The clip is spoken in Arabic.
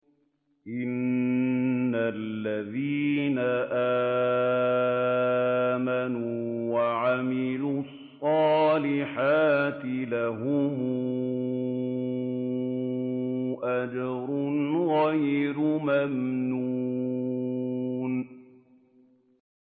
إِنَّ الَّذِينَ آمَنُوا وَعَمِلُوا الصَّالِحَاتِ لَهُمْ أَجْرٌ غَيْرُ مَمْنُونٍ